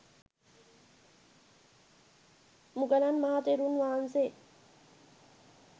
මුගලන් මහ තෙරුන් වහන්සේ